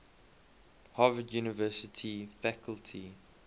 harvard university faculty